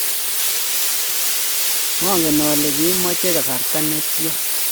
mangen ale kimache kasarta ne tia